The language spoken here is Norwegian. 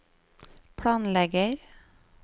planlegger